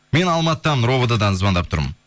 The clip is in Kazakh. мен алматыдамын ровд дан звондап тұрмын